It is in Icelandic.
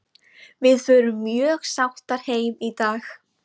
Við förum mjög sáttar heim í dag.